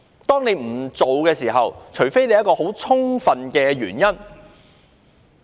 當你不做某程序，便須有很充分的原因。